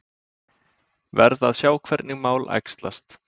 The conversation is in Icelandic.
Verð að sjá hvernig mál æxlast